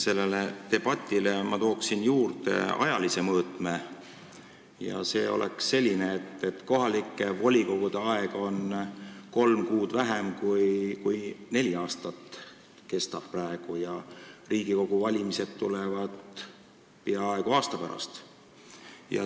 Sellele debatile ma tooksin juurde ajalise mõõtme ja see oleks selline: kohalike volikogude volitused kestavad kolm kuud vähem kui neli aastat, need kestavad praegu, ja Riigikogu valimised tulevad peaaegu aasta pärast.